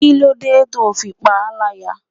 Kí ló dé to fi ń pa láyà?